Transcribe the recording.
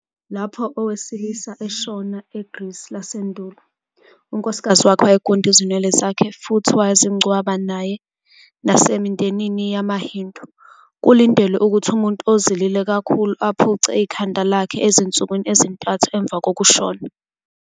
Lapho owesilisa eshona eGrisi lasendulo, unkosikazi wakhe wayegunda izinwele zakhe futhi wazingcwaba nayenasemindenini yamaHindu, kulindelwe ukuthi umuntu ozilile kakhulu aphuce ikhanda lakhe ezinsukwini ezintathu emva kokushona.